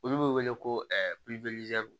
Olu bɛ wele ko